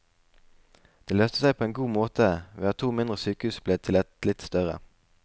Det løste seg på en god måte ved at to mindre sykehus ble til ett litt større.